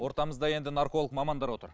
ортамызда енді нарколог мамандар отыр